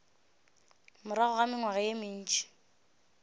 morago ga mengwaga ye mentši